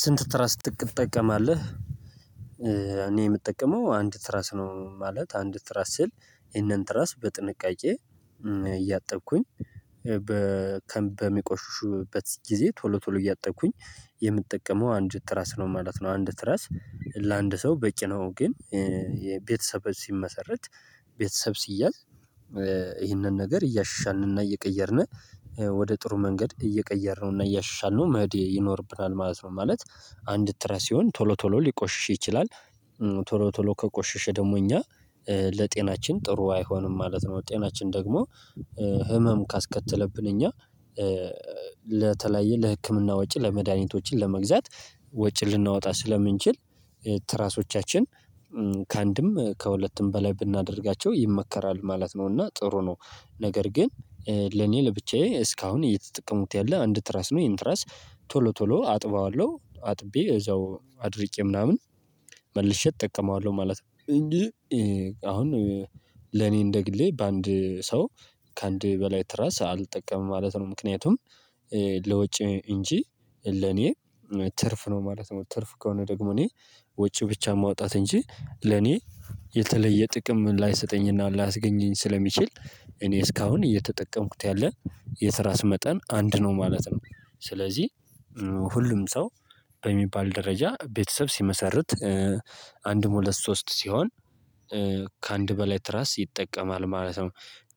ስንት ትራስ ትጠቀማለህ? እኔ የምጠቀመው አንድ ትራስ ነው ማለት አንድ ትራስ ሲል ይሄንን ትራስ በጥንቃቄ እያጠብኩኝ በሚቆሹበት ጊዜ ቶሎ ቶሎ እያጠቅኩኝ የምጠቀመው አንድ ትራስ ነው ማለት ነው። አንድ ትራስ ለአንድ ሰው በቂ ነው። ግን የቤተሰብ ሲመሰረት ቤተሰብ ሲያዝ ይህንን ነገር እያሻንንና እየቀየርነ ወደ ጥሩ መንገድ እየቀየርነውና እያሻልነው መህዴ ይኖርብናል ማለት ነው። ማለት አንድ ትራስ ሲሆን ቶሎ ቶሎ ሊቆሽሽ ይችላል ቶሎ ቶሎ ከቆሽሽ ደግሞ እኛ ለጤናችን ጥሩ አይሆንም ማለት ነው። ጤናችን ደግሞ ህመም ካስከተለብን እኛ ለተለያየ ለህክምና ወጪ ለመድሃኒቶችን ለመግዛት ወጪ ልናወጣ ስለምንችል ትራሶቻችን ከአንድም ከሁለትም በላይ ብናደርጋቸው ይመከራል ማለት ነው። እና ጥሩ ነው። ነገር ግን ለኔ ለብቻዬ እስካሁን እየተጠቀሙት ያለ አንድ ትራስ ነው ይሄን ትራስ ቶሎ ቶሎ አጥበዋለሁ አጥቤ እዛው አድርጬ ምናምን መልሼ እጠቀማለሁ ማለት ነው። እንጂ አሁን ለኔ እንደግሌ በአንድ ሰው ከአንድ በላይ ትራስ አልጠቀምም ማለት ነው። ምክንያቱም ለውጭ እንጂ ለኔ ትርፍ ነው ማለት ነው። ትርፍ ከሆነ ደግሞ እኔ ውጭ ብቻ ማውጣት እንጂ ለኔ የተለየ ጥቅም ላይሰጠኝና ላያስገኘኝ ስለሚችል እኔ እስካሁን እየተጠቀምኩት ያለ የስራ ስም መጠን አንድ ነው ማለት ነው። ስለዚህ ሁሉም ሰው በሚባል ደረጃ ቤተሰብ ሲመሰርት አንድም ሁለት ሶስት ሲሆን ከአንድ በላይ ትራስ ይጠቀማል ማለት ነው።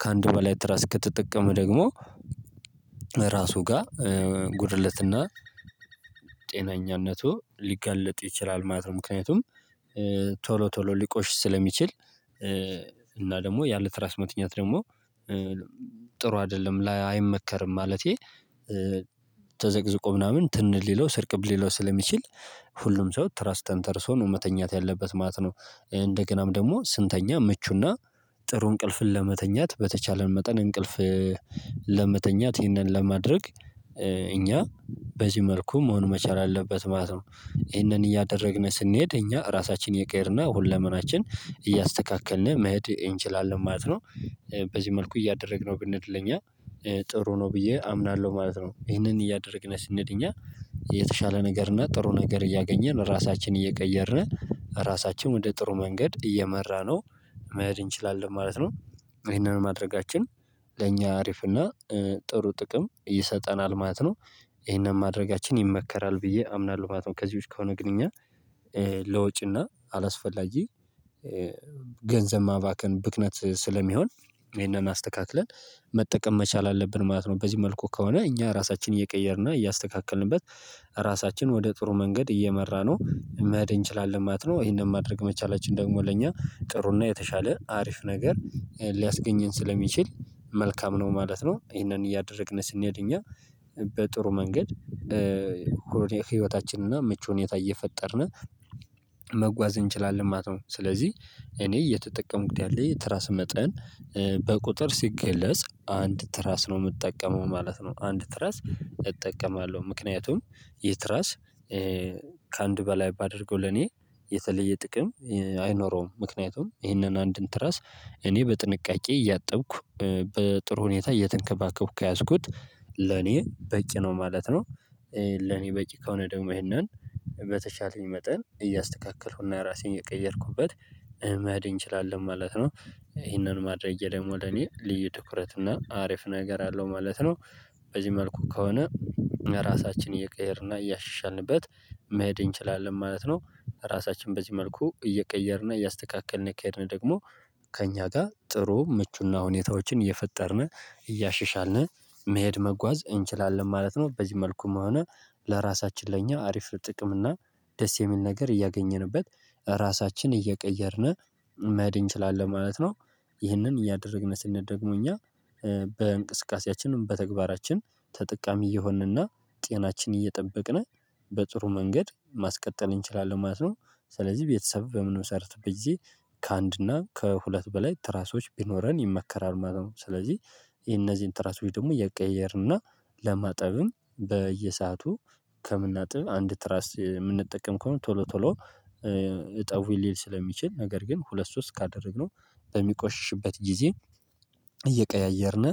ከአንድ በላይ ትራስ ከተጠቀመ ደግሞ ራሱ ጋር ጉድለትና ጤነኛነቱ ሊገለጥ ይችላል ማለት ነው። ምክንያቱም ቶሎ ቶሎ ሊቆሽ ስለሚችል እና ደግሞ ያለ ትራስ ሞትኛት ደግሞ ጥሩ አይደለም ላይ አይመከርም። ማለቴ ተዘቅዝቆ ምናምን ትን ሊለው ስርቅብ ሊለው ስለሚችል ሁሉም ሰው ትረስት ተርሶ ነው መተኛት ያለበት ማለት ነው። እንደገናም ደግሞ ስንተኛ ምቹና ጥሩ እንቅልፍን ለመተኛት በተቻለን መጠን እንቅልፍ ለመተኛት ይህንን ለማድረግ እኛ በዚህ መልኩ መሆን መቻል አለበት ማለት ነው። ይሄንን እያደረግን ስንሄድ እኛ ራሳችንን ይቀየርና ሁለመናችን እያስተካከልን መሄድ እንችላለን ማለት ነው። በዚህ መልኩ እያደረግነው ብንሄድ ለእኛ ጥሩ ነው ብዬ አምናለሁ ማለት ነው። ይህንን እያደረግነው ስንድል እኛ የተሻለ ነገር እና ጥሩ ነገር እያገኘን ራሳችንን እየቀየርን ራሳችንን ወደ ጥሩ መንገድ እየመራነው መሄድ እንችላለን ማለት ነው። ይሄንን ማድረጋችን ለእኛ አሪፍ እና ጥሩ ጥቅም ይሰጠናል ማለት ነው። ይሄንን ማድረጋችን ይመከራል ብዬ አምናለሁ ማለት ነው። ከዚህዎች ከሆነ ግንኙነት ለወጪና አላስፈላጊ ገንዘብ ማባከን ብክነት ስለሚሆን ይሄንን አስተካክለን መጠቀም መቻል አለብን ማለት ነው። በዚህ መልኩ ከሆነ እኛ ራሳችንን እየቀየርና እያስተካከልንበት ራሳችን ወደ ጥሩ መንገድ እየመራነው መሄድ እንችላለን ማለት ነው። ይሄንን ማድረግ መቻላችን ደግሞ ለእኛ ጥሩና የተሻለ አሪፍ ነገር ሊያስገኘን ስለሚችል መልካም ነው ማለት ነው። ይሄንን እያደረግን ስንሄድ እኛ በጥሩ መንገድ ህይወታችንና ምቹ ሁኔታ እየፈጠርን መጓዝ እንችላለን ማለት ነው። ስለዚህ እኔ እየተጠቀምኩት ያለሁት ትራስ መጠን በቁጥር ሲገለጽ አንድ ትራስ ነው የምጠቀመው ማለት ነው። አንድ ትራስ እጠቀማለሁ ምክንያቱም የትራስ ከአንድ በላይ ባደርገው ለኔ የተለየ ጥቅም አይኖረውም ምክንያቱም ይህንን አንድን ትራስ እኔ በጥንቃቄ እያጠብኩ በጥሩ ሁኔታ እየተንከባከብኩ ከያዝኩት ለኔ በቂ ነው ማለት ነው። ለኔ በቂ ከሆነ ደግሞ ይሄንን በተሻለኝ መጠን እያስተካከልኩና ራሴን የቀየርኩበት መሃል እንችላለን ማለት ነው። ይሄንን ማድረጌ ደግሞ ለኔ ልዩ ድኩረት እና አሪፍ ነገር አለው ማለት ነው። በዚህ መልኩ ከሆነ ራሳችንን እየቀየርና እያሻሻልንበት መሄድ እንችላለን ማለት ነው። ራሳችን በዚህ መልኩ እየቀየርነ እያስተካከልን እየካሄድን ደግሞ ከእኛ ጋር ጥሩ ምቹና ሁኔታዎችን እየፈጠርን እያሸሻልነ መሄድ መጓዝ እንችላለን ማለት ነው። በዚህ መልኩም ሆነ ለራሳችን ለእኛ አሪፍ ጥቅም እና ደስ የሚል ነገር እያገኘንበት ራሳችንን እየቀየርን መሄድ እንችላለን ማለት ነው። ይህንን እያደረግን ስንደግመው እኛ በእንቅስቃሴያችንም በተግባራችን ተጠቃሚ እየሆንንና ጤናችን እየጠበቅን በጥሩ መንገድ ማስቀጠል እንችላለን ማለት ነው። ስለዚህ ቤተሰብ በምንሰርት ብዬ ከአንድ እና ከሁለት በላይ ትራሶች ቢኖረን ይመከራል ማለት ነው። ስለዚህ እነዚህን ትራሶች ደግሞ የቀየርንና ለማጠብም በየሰአቱ ከምናጥብ አንድ ትራስ የምንጠቀም ከሆነ ቶሎ ቶሎ እጠውይ ሊል ስለሚችል ነገር ግን ሁለት ሶስት ካደረግነው በሚቆሽሽበት ጊዜ እየቀያየርን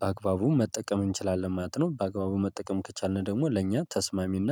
በአግባቡ መጠቀም እንችላለን ማለት ነው። በአግባቡ መጠቀም ከቻልን ደግሞ ለእኛ ተስማሚና